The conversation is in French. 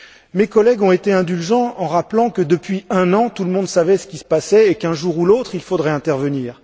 Mes collègues ont été indulgents en rappelant que, depuis un an, tout le monde savait ce qui se passait et, qu'un jour ou l'autre, il faudrait intervenir.